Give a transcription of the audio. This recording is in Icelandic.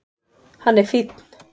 Hann er fínn.